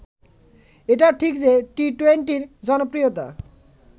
এটাও ঠিক যে টি-টোয়েন্টির জনপ্রিয়তা